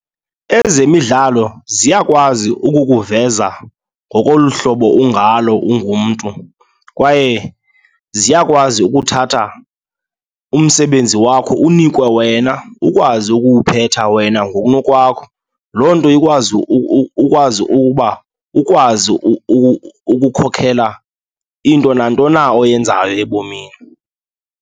Ezemidlalo ziyakwazi ukukuveza ngokolu hlobo ungalo ungumntu kwaye ziyakwazi ukuthatha umsebenzi wakho unikwe wena, ukwazi ukuwuphetha wena ngokunokwakho. Loo nto ikwazi ukwazi ukuba ukwazi ukukhokhela into nanto na oyenzayo ebomini.